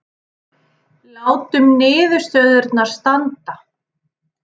Látum niðurstöðurnar standa